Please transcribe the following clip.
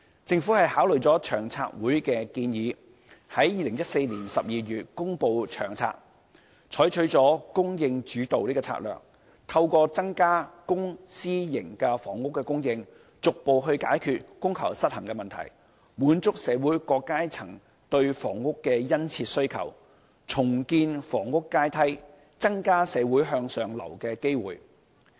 政府考慮了長策會的建議，在2014年12月公布《長策》，採取了"供應主導"的策略，透過增加公私營房屋的供應，逐步解決供求失衡的問題，滿足社會各階層對房屋的殷切需求，重建房屋階梯，增加社會向上流動的機會。